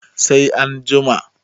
sai an jima?